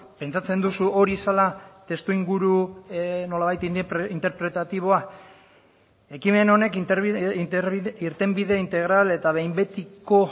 pentsatzen duzu hori zela testuinguru nolabait interpretatiboa ekimen honek irtenbide integral eta behin betiko